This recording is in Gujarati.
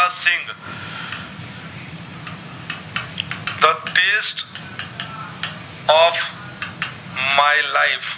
the test of my life